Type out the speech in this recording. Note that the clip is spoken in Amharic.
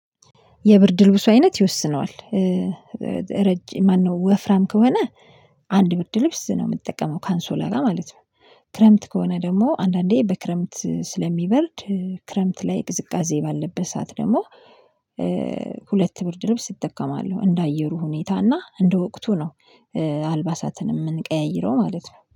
የብርድ ልብሱ አይነት ይወስነዋል? ማነው ወፍራም ከሆነ አንድ ብርድ ልብስ ነው የምትጠቀመው ካንሶላ ጋ ማለት ነው። ክረምት ከሆነ ደግሞ አንዳንዴ በክረምት ስለሚበርድ ክረምት ላይ ቅዝቃዜ ባለበት ደግሞ ሁለት ብርድ ልብስ እጠቀማለሁ። እንደ አየሩ ሁኔታ እና እንደ ወቅቱ ነው። አልባሳትን የምንቀያይረው ማለት ነው